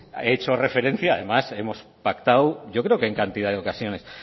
he hecho referencia además hemos pactado yo creo que en cantidad de ocasiones